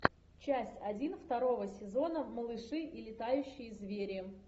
часть один второго сезона малыши и летающие звери